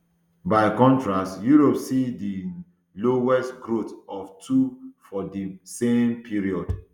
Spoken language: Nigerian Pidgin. by um contrast europe see di um lowest growth of two for di same period